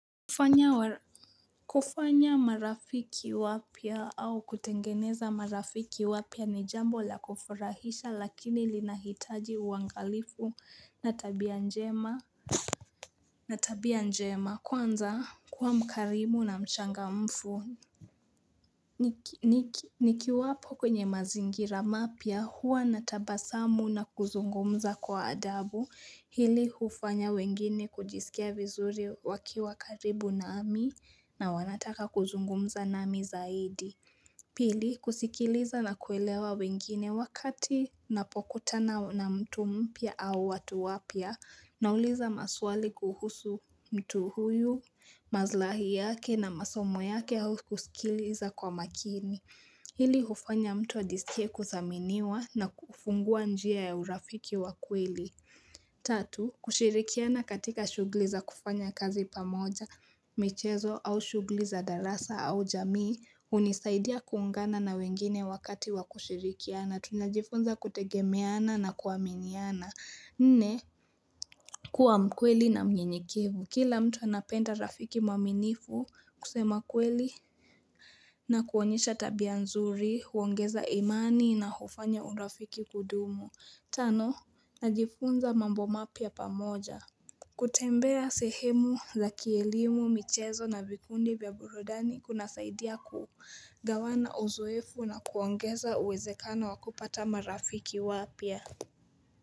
Kufanya marafiki wapya au kutengeneza marafiki wapya ni jambo la kufurahisha lakini linahitaji uangalifu na tabia njema kwanza kuwa mkarimu na mchangamfu Nikiwapo kwenye mazingira mapya huwa natabasamu na kuzungumza kwa adabu Hili hufanya wengine kujisikia vizuri wakiwa karibu nami na wanataka kuzungumza nami zaidi Pili kusikiliza na kuelewa wengine wakati napokutana na mtu mpya au watu wapya Nauliza maswali kuhusu mtu huyu, maslahi yake na masomo yake au kusikiliza kwa makini. Hili hufanya mtu ajisikie kudhaminiwa na kufungua njia ya urafiki wa ukweli. Tatu, kushirikiana katika shughuli za kufanya kazi pamoja, michezo au shughuli za darasa au jamii. Hunisaidia kuungana na wengine wakati wa kushirikiana. Tunajifunza kutegemeana na kuaminiana. Nne kuwa mkweli na mnyenyekevu kila mtu anapenda rafiki mwaminifu kusema kweli na kuonyesha tabia nzuri huongeza imani na hufanya urafiki kudumu tano najifunza mambo mapya pamoja kutembea sehemu za kielimu michezo na vikundi burudani kuna saidia kugawana uzoefu na kuongeza uwezekano wakupata marafiki wapya.